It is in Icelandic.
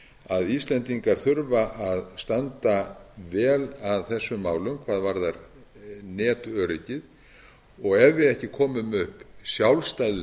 að íslendingar þurfa að standa vel að þessum málum hvað varðar netöryggi ef við ekki komum upp sjálfstæðu teymi